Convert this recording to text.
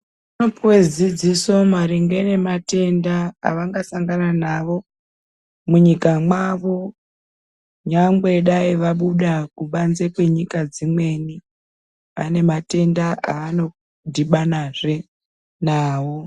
Vaipuwa dzidziso maringe ngematenda avangasangana navo munyika mwavo nyangwe dai vabuda kubanze kwenyika dzimweni ane matendanda anodhibanazve nawo.